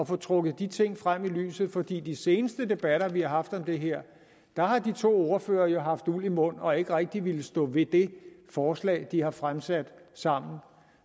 få trukket de ting frem i lyset for i de seneste debatter vi har haft om det her har de to ordførere jo haft uld i mund og ikke rigtig villet stå ved det forslag de har fremsat sammen